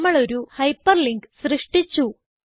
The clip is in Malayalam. നമ്മൾ ഒരു ഹൈപ്പർലിങ്ക് സൃഷ്ടിച്ചു